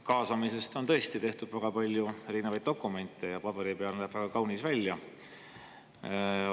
Kaasamisest on tõesti tehtud väga palju erinevaid dokumente ja paberi peal näeb kõik väga kaunis välja.